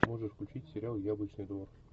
можешь включить сериал яблочный двор